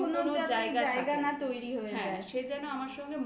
লুকোনোর কোনো যাতে এইটাই লুকোনোর কোনো যাতে জায়গা না তৈরি হয়ে যায়।